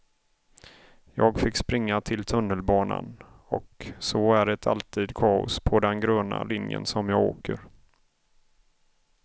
Jag fick springa till tunnelbanan, och så är det alltid kaos på den gröna linjen som jag åker.